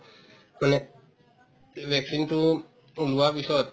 মানে vaccine তো um লোৱাৰ পিছত